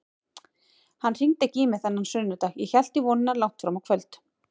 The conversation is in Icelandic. Hann hringdi ekki í mig þennan sunnudag, ég hélt í vonina langt fram á kvöld.